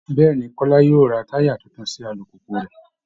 Bẹ́ẹ̀ ni, Kọ́lá yóò ra táyà tuntun sí alùpùpù rẹ̀